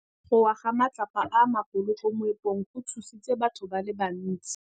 Go wa ga matlapa a magolo ko moepong go tshositse batho ba le bantsi.